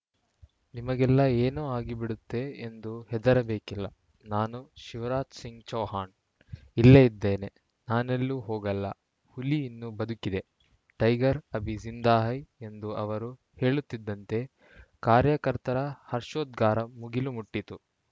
ನಿಮಗೆಲ್ಲಾ ಏನೋ ಆಗಿ ಬಿಡುತ್ತೆ ಎಂದು ಹೆದರಬೇಕಿಲ್ಲ ನಾನು ಶಿವರಾಜ ಸಿಂಗ್‌ ಚೌಹಾಣ್‌ ಇಲ್ಲೇ ಇದ್ದೇನೆ ನಾನೆಲ್ಲೂ ಹೋಗಲ್ಲ ಹುಲಿ ಇನ್ನೂ ಬದುಕಿದೆ ಟೈಗರ್‌ ಅಭಿ ಜಿಂದಾ ಹೈ ಎಂದು ಅವರು ಹೇಳುತ್ತಿದ್ದಂತೆ ಕಾರ್ಯಕರ್ತರ ಹರ್ಷೋದ್ಗಾರ ಮುಗಿಲು ಮುಟ್ಟಿತು